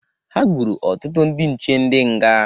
Ha gburu ọtụtụ ndị nche ndị nga.